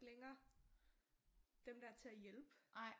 Længere dem der til at hjælpe